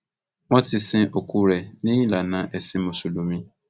wọn ti sin òkú rẹ ní ìlànà ẹsìn mùsùlùmí